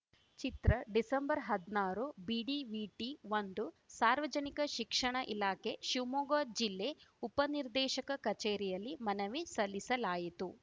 ಚಿತ್ರ December ಹದ್ನಾರು ಬಿಡಿವಿಟಿಒಂದು ಸಾರ್ವಜನಿಕ ಶಿಕ್ಷಣ ಇಲಾಖೆ ಶಿವಮೊಗ್ಗ ಜಿಲ್ಲೆ ಉಪನಿರ್ದೇಶಕ ಕಚೇರಿಯಲ್ಲಿ ಮನವಿ ಸಲ್ಲಿಸಲಾಯಿತು